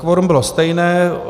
Kvorum bylo stejné.